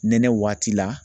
Nɛnɛ waati la